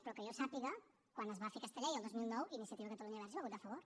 però que jo sàpiga quan es va fer aquesta llei el dos mil nou iniciativa per catalunya verds hi va votar a favor